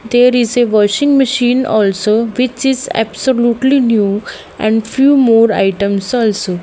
there is a washing machine also which is absolutely new and few more items also.